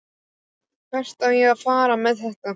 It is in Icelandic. Hvert á ég að fara með það?